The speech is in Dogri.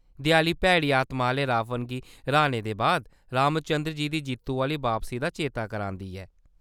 देआली भैड़ी आतमा आह्‌ले रावण गी र्‌हाने दे बाद रामचन्द्र जी दी जित्तु आह्‌ली बापसी दा चेता करांदी ऐ।